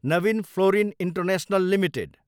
Naveen fluorine international limited